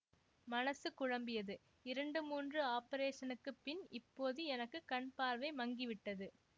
மனசு குழம்பியது இரண்டு மூன்று ஆபரேஷனுக்குப் பின் இப்போது எனக்கு கண் பார்வை மங்கி விட்டது